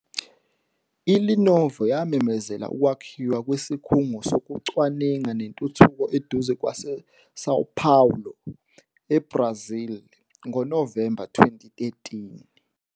ILenovo yamemezela ukwakhiwa kwesikhungo sokucwaninga nentuthuko eduze kwaseSão Paulo, eBrazil, ngoNovemba 2013.